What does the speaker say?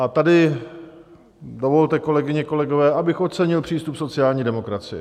A tady dovolte, kolegyně, kolegové, abych ocenil přístup sociální demokracie.